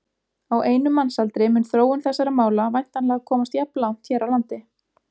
Á einum mannsaldri mun þróun þessara mála væntanlega komast jafnlangt hér á landi.